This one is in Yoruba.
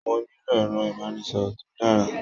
Mo nílò ẹ̀rọ-ìbánisọ̀rọ̀ tó dára.